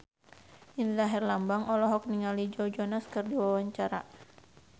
Indra Herlambang olohok ningali Joe Jonas keur diwawancara